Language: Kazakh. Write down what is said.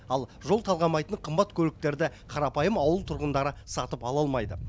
ал жол талғамайтын қымбат көліктерді қарапайым ауыл тұрғындары сатып ала алмайды